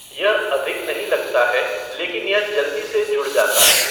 यह अधिक नहीं लगता है, लेकिन यह जल्दी से जुड़ जाता है।